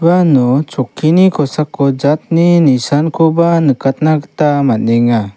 uano chokkini kosako jatni nisankoba nikatna gita man·enga.